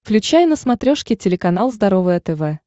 включай на смотрешке телеканал здоровое тв